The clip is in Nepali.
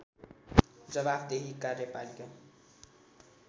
जवाफदेही कार्यपालिका